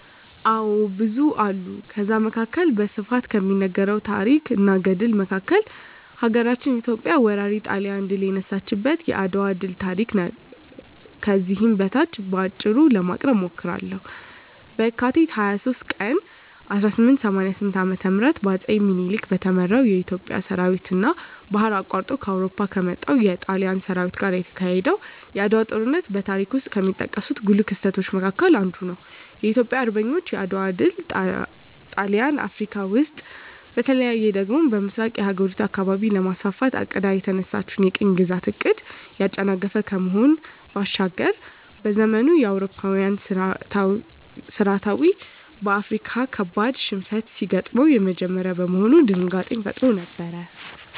አዎ ብዙ አሉ ከዛ መካከል በስፋት ከሚነገረው ታረክ እና ገድል መካከል ሀገራችን ኢትዮጵያ ወራሪ ጣሊያንን ድል የነሳችበት የአድዋ ድል ታሪክ ከዚህ በታች በአጭሩ ለማቅረብ እሞክራለሁ፦ በካቲት 23 ቀን 1888 ዓ.ም በአጼ ምኒልክ በተመራው የኢትዮጵያ ሠራዊትና ባህር አቋርጦ ከአውሮፓ ከመጣው የጣሊያን ሠራዊት ጋር የተካሄደው የዓድዋው ጦርነት በታሪክ ውስጥ ከሚጠቀሱ ጉልህ ክስተቶች መካከል አንዱ ነው። የኢትዮጵያ አርበኞች የዓድዋ ድል ጣሊያን አፍረካ ውስጥ በተለይ ደግሞ በምሥራቁ የአህጉሪቱ አካባቢ ለማስፋፋት አቅዳ የተነሳችለትን የቅኝ ግዛት ዕቅድን ያጨናገፈ ከመሆኑ ባሻገር፤ በዘመኑ የአውሮፓዊያን ሠራዊት በአፍሪካዊያን ካበድ ሽንፈት ሲገጥመው የመጀመሪያ በመሆኑ ድንጋጤንም ፈጥሮ ነበር።